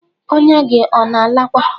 Ọ̀nya gi ona alakwa?